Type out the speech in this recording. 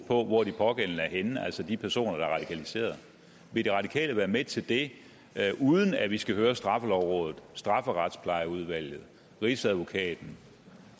på hvor de pågældende er henne altså de personer der er radikaliseret vil de radikale være med til det uden at vi skal høre straffelovrådet strafferetsplejeudvalget rigsadvokaten